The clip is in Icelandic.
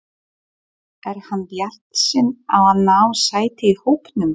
Er hann bjartsýnn á að ná sæti í hópnum?